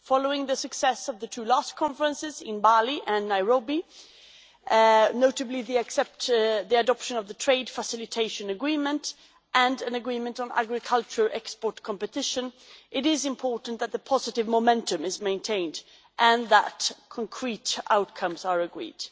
Following the success of the last two conferences in Bali and Nairobi notably they accepted the adoption of the trade facilitation agreement and an agreement on agriculture export competition, it is important that the positive momentum is maintained and that concrete outcomes are agreed.